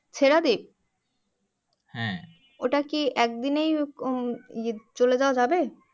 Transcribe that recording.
সেরাদ্বীপ হ্যাঁ সেটা কি একদিনেই চলে যাওয়া যাবে